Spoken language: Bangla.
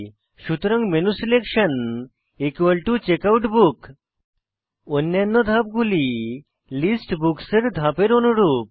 সুতরাং মেনুসিলেকশন চেকআউটবুক অন্যান্য ধাপগুলি লিস্ট বুকস এর ধাপের অনুরূপ